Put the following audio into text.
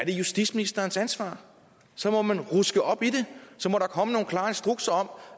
justitsministerens ansvar så må man ruske op i det så må der komme nogle klare instrukser om